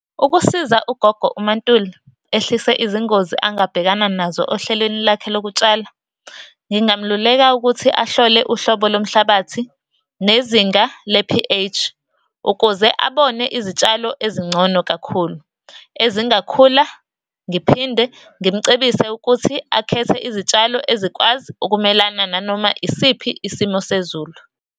Ukusiza ugogo uMa Ntuli ehlise izingozi angabhekana nazo ohlelweni lakhe lokutshala, ngingamluleka ukuthi ahlole uhlobo lomhlabathi nezinga le-P_H, ukuze abone izitshalo ezingcono kakhulu ezingakhula. Ngiphinde ngimucebise ukuthi akhethe izitshalo ezikwazi ukumelana nanoma yisiphi isimo sezulu.